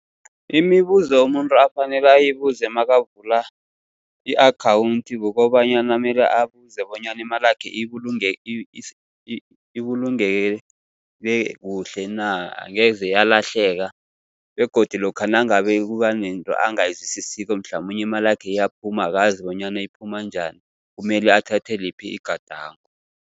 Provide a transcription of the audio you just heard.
Imibuzo umuntu afanele ayibuze nakavula i-akhawunthi, kukobanyana mele abuze bonyana imalakhe ibulungeke kuhle na, angeze yalahleka. Begodu lokha nangabe kuba nento angayizwisisiko, mhlamunye imalakhe iyaphuma akazi bonyana iphuma njani, kumele athathe liphi igadango.